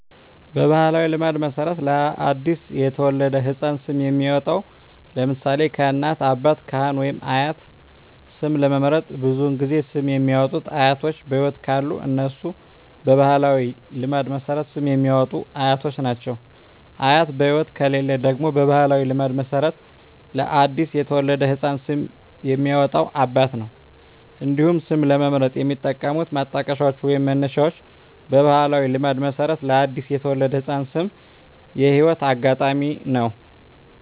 በባሕላዊ ልማድ መሠረት ለ አዲስ የተወለደ ሕፃን ስም የሚያወጣዉ (ለምሳሌ: ከእናት፣ አባት፣ ካህን ወይም አያት) ስም ለመምረጥ ብዙውን ጊዜ ስም የሚያወጡት አያቶች በህይወት ካሉ እነሱ በባህላዊ ልማድ መሠረት ስም የሚያወጡት አያቶች ናቸው። አያት በህይወት ከሌሉ ደግሞ በባህላዊ ልማድ መሠረት ለአዲስ የተወለደ ህፃን ስም የሚያወጣው አባት ነው። እንዲሁም ስም ለመምረጥ የሚጠቀሙት ማጣቀሻዎች ወይንም መነሻዎች በባህላዊ ልማድ መሠረት ለአዲስ የተወለደ ህፃን ስም የህይወት አጋጣሚ ነው።